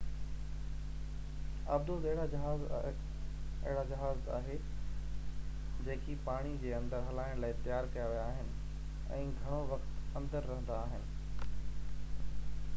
آبدوز اهڙا جهاز آهي جيڪي پاڻي جي اندر هلائڻ لاءِ تيار ڪيا ويا آهن ۽ گهڻو وقت اندر رهندا آهن